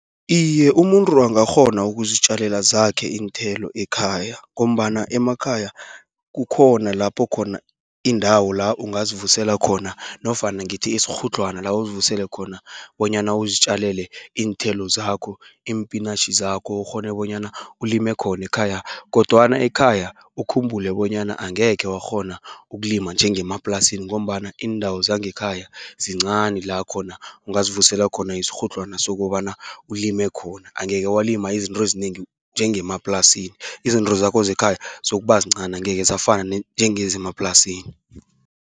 Iye umuntru angakghona ukuzitjalela zakhe iinthelo ekhaya, ngombana emakhaya, kukhona laphokhona indawo la, ungazivusela khona nofana ngithi isirhudlwana, la uzivusele khona bonyana uzitjalele iinthelo zakho, iimpinatjhi zakho. Ukghone bonyana ulime khone khaya, kodwana ekhaya ukhumbule bonyana angekhe wakghona ukulima njengemaplasini, ngombana iindawo zangekhaya zincani la khona, ungazivusela khona isirhudlwana sokobana ulime khona. Angeke wakulima izinto ezinengi njengemaplasini. Izinto zakho zekhaya, zokuba zincani angeke zafana njengezemaplasini.